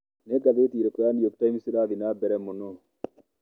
Nĩ ngathĩti ĩrĩkũ ya New York Times ĩrathiĩ na mbere mũno?